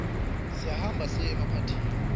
siyahamba siye emapathini